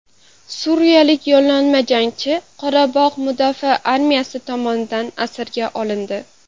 Suriyalik yollanma jangchi Qorabog‘ mudofaa armiyasi tomonidan asirga olindi.